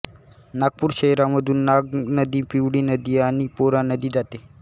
नागपूर शहरामधून नाग नदी पिवळी नदी आणि पोरा नदी जाते